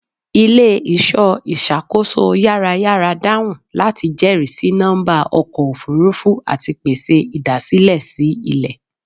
Ile-iṣọ iṣakoso yarayara dahun lati jẹrisi nọmba ọkọ ofurufu ati pese idasilẹ si ilẹ